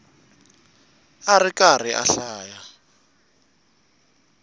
a ri karhi a hlaya